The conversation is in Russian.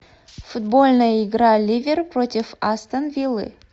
футбольная игра ливер против астон виллы